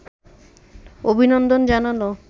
অভিনন্দন জানানো